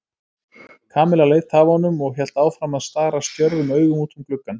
Kamilla leit af honum og hélt áfram að stara stjörfum augum út um gluggann.